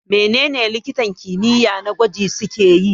Menene likitan kimiyya na gwaji suke yi?